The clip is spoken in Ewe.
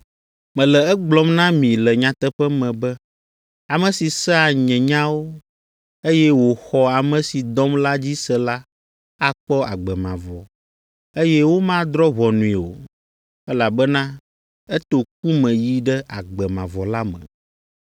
“Mele egblɔm na mi le nyateƒe me be ame si sea nye nyawo, eye wòxɔ ame si dɔm la dzi se la akpɔ agbe mavɔ, eye womadrɔ̃ ʋɔnui o, elabena eto ku me yi ɖe agbe mavɔ la me.